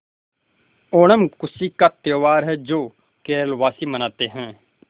ओणम खुशी का त्यौहार है जो केरल वासी मनाते हैं